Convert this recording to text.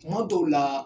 Kuma dɔw la